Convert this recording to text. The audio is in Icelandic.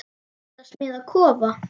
Ertu að smíða kofa?